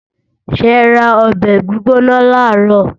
Ṣẹra ọbẹ̀ gbígbóná làárọ̀?